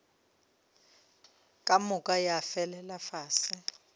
ka moka ya felela fase